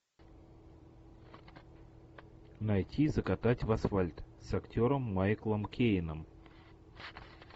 найти закатать в асфальт с актером майклом кейном